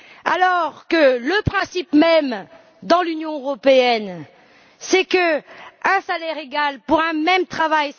Alors que le principe même dans l'Union européenne, c'est un salaire égal pour un même travail.